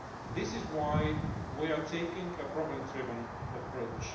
This is why we are taking a problem driven approach.